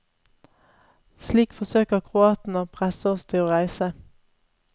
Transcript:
Slik forsøker kroatene å presse oss til å reise.